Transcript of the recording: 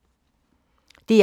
DR1